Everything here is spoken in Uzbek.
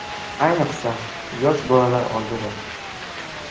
Ayniqsa yosh bolalar oldida.